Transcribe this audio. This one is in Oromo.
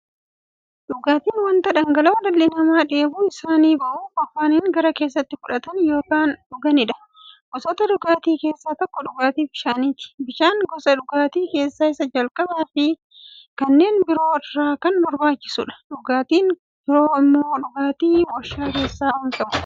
Dhugaatiin wanta dhangala'oo dhalli namaa dheebuu isaanii ba'uuf, afaaniin gara keessaatti fudhatan yookiin dhuganiidha. Gosoota dhugaatii keessaa tokko dhugaatii bishaaniti. Bishaan gosa dhugaatii keessaa isa jalqabaafi kanneen biroo irra kan barbaachisuudha. Dhugaatiin biroo immoo dhugaatii waarshalee keessatti oomishamaniidha.